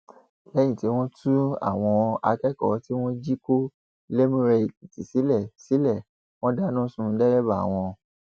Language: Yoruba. lẹyìn tí wọn tú àwọn akẹkọọ tí wọn jí kó lẹmúrèèkìtì sílẹ sílẹ wọn dáná sun dẹrẹbà wọn